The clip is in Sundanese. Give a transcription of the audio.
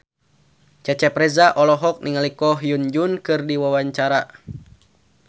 Cecep Reza olohok ningali Ko Hyun Jung keur diwawancara